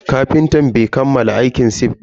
Kafintan bai kammala aikin sif din ba.